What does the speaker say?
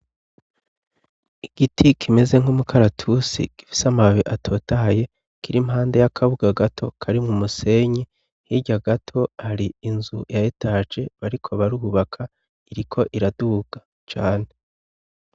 Igiti kimeze nk'umukaratusi gifise amababi atotaye kiri impande y'akabuga gato kari mwu musenyi hirya gato hari inzu yayetaje bariko barubaka iriko iraduga cane.